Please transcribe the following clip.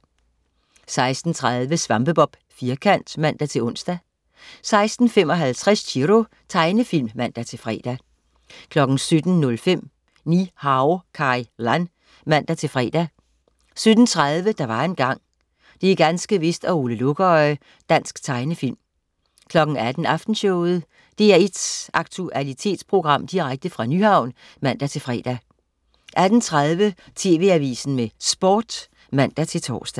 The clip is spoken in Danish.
16.30 SvampeBob Firkant (man-ons) 16.55 Chiro. Tegnefilm (man-fre) 17.05 Ni-Hao Kai Lan (man-fre) 17.30 Der var engang. Det er ganske vist og Ole Lukøje. Dansk tegnefilm 18.00 Aftenshowet. DR1's aktualitetsprogram direkte fra Nyhavn (man-fre) 18.30 TV Avisen med Sport (man-tors)